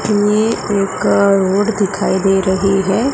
जिन्हें एक रोड दिखाई दे रही है।